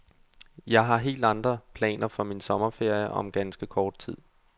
Jeg har helt andre planer for min sommerferie om ganske kort tid.